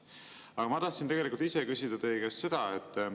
Aga ma tegelikult tahtsin küsida teie käest seda.